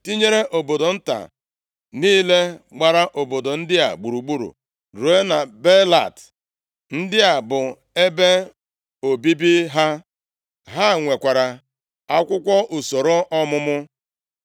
tinyere obodo nta niile gbara obodo ndị a gburugburu ruo na Baalat. Ndị a bụ ebe obibi ha. Ha nwekwara akwụkwọ usoro ọmụmụ.